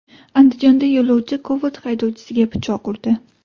Andijonda yo‘lovchi Cobalt haydovchisiga pichoq urdi.